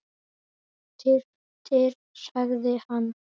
Þyrftir sagði hann.